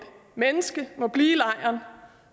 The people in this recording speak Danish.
menneske må blive i lejren